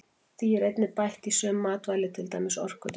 Því er einnig bætt í sum matvæli til dæmis orkudrykki.